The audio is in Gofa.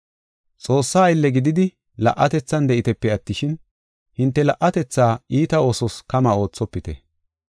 Xoossaa aylle gididi la77atethan de7itepe attishin, hinte la77atetha iita oosos kama oothopite.